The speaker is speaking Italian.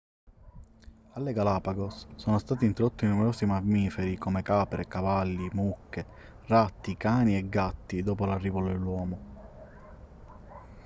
alle galapagos sono stati introdotti numerosi mammiferi come capre cavalli mucche ratti cani e gatti dopo l'arrivo dell'uomo